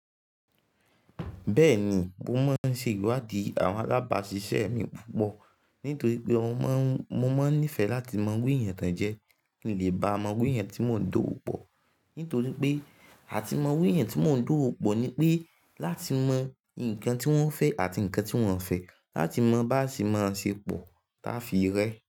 Bẹ́ẹ̀ni, mo máa ń ṣe iwádi àwọn alábàáṣiṣẹ́ mi púpọ̀. Nítorí pé mo máa ń nífẹ̀ẹ́ láti mọ irú èèyàn ti won jẹ́, kí n lè ba mọ̀ iru èèyàn tí mò ń dòwòpọ̀. Nítorí pé àti mọ̀ irú èèyàn tí mò ń dòpò ni pé láti mọ nǹkan tí wọ́n fẹ́ àti nǹkan tí wọ́n fẹ́, láti mọ bi áṣe máa ṣepọ̀ táa fi rẹ́.